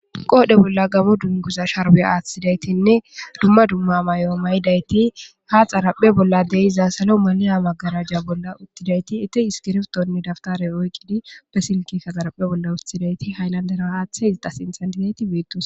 qoodhe bolla gamo dunguza sharbiya aaththidaytinne dumma dumma mayo mayidayti ha xaraphe bolla de'iza salo maliya maggarajja bolla uttidayti ite iskirftonne daftare oyqqidi be silki ka xaraphe bolla uthidayti haynandera haaththe izdasintantiteyti beettos